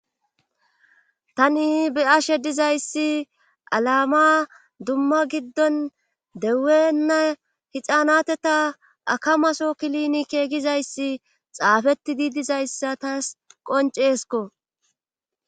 tani be ashe dizayssi alama dumma giddon deuenna hixaanateta akamaso kilinike gizayssi xaafeti diidizayssa taas qonceesko